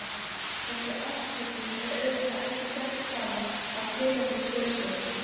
Þessi afsökun er auðvitað ekki sett fram að tilefnislausu.